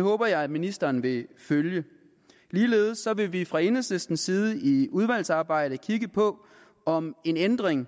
håber jeg ministeren vil følge ligeledes vil vi fra enhedslistens side i udvalgsarbejdet kigge på om en ændring